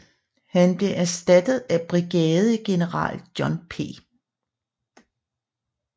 Han blev erstattet af brigadegeneral John P